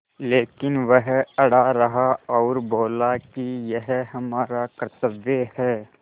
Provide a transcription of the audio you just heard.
लेकिन वह अड़ा रहा और बोला कि यह हमारा कर्त्तव्य है